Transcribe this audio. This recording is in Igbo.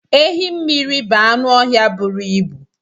Ehi mmiri bụ anụ ọhịa buru ibu.